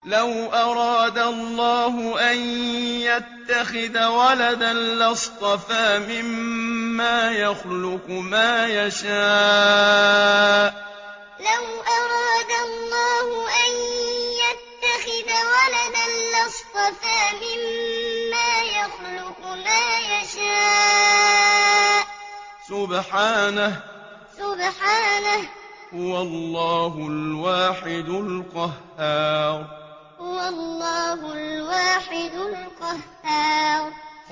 لَّوْ أَرَادَ اللَّهُ أَن يَتَّخِذَ وَلَدًا لَّاصْطَفَىٰ مِمَّا يَخْلُقُ مَا يَشَاءُ ۚ سُبْحَانَهُ ۖ هُوَ اللَّهُ الْوَاحِدُ الْقَهَّارُ لَّوْ أَرَادَ اللَّهُ أَن يَتَّخِذَ وَلَدًا لَّاصْطَفَىٰ مِمَّا يَخْلُقُ مَا يَشَاءُ ۚ سُبْحَانَهُ ۖ هُوَ اللَّهُ الْوَاحِدُ الْقَهَّارُ